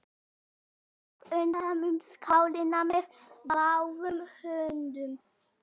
Amma tók utan um skálina með báðum höndum.